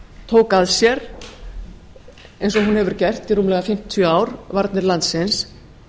tók að sér eins og hún hefur gert í rúmlega fimmtíu ár varnir landsins